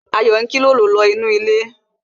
Ayo ń kilolo nínú ilé